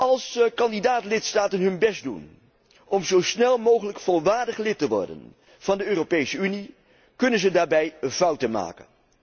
Als kandidaat lidstaten hun best doen om zo snel mogelijk volwaardig lid te worden van de Europese Unie, kunnen ze daarbij fouten maken.